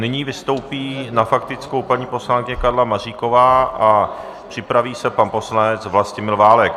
Nyní vystoupí na faktickou paní poslankyně Karla Maříková a připraví se pan poslanec Vlastimil Válek.